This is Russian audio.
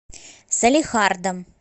салехардом